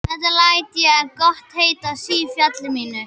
Þetta læt ég gott heita af sifjaliði mínu.